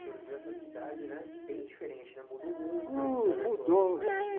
Surgiu essa cidade né bem diferente né, mudou muito.